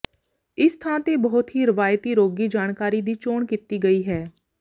ਇਸ ਥਾਂ ਤੇ ਬਹੁਤ ਹੀ ਰਵਾਇਤੀ ਰੋਗੀ ਜਾਣਕਾਰੀ ਦੀ ਚੋਣ ਕੀਤੀ ਗਈ ਹੈ